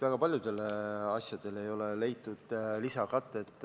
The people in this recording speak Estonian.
Väga paljudele asjadele ei ole leitud lisakatet.